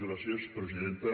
gràcies presidenta